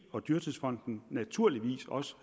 og dyrtidsfonden naturligvis også